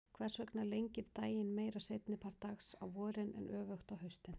Hvers vegna lengir daginn meira seinni part dags á vorin en öfugt á haustin?